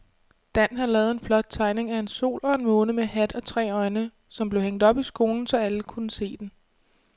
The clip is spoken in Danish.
Dan havde lavet en flot tegning af en sol og en måne med hat og tre øjne, som blev hængt op i skolen, så alle kunne se den.